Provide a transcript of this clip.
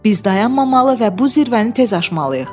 Biz dayanmamalı və bu zirvəni tez aşmalıyıq.